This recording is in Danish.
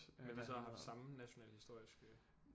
Men hvad så har de samme national historiske